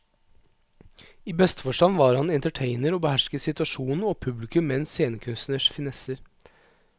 I beste forstand var han entertainer og behersket situasjonen og publikum med en scenekunstners finesser.